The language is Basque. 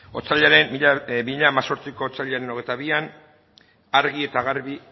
bi mila hemezortziko otsailaren hogeita bian argi eta garbi